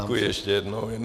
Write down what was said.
Děkuji ještě jednou.